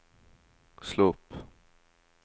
slå opp